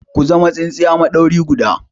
Ku zama tsintsiya maɗauri guda!